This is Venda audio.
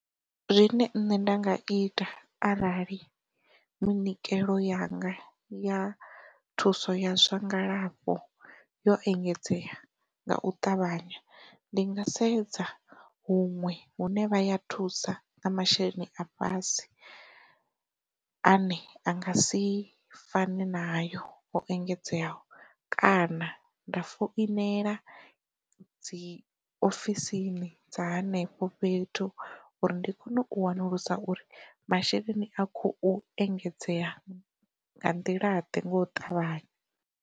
Zwine nṋe nda nga ita arali munikelo yanga ya thuso ya zwa ngalafho yo engedzea nga u ṱavhanya ndi nga sedza huṅwe hune vha ya thusa na masheleni a fhasi ane a nga si fani na hayo u engedzeaho kana, nda foinela dziofisini dza henefho fhethu uri ndi kone u wanulusa uri masheleni a khou engedzea nḓilaḓe nga u ṱavhanya.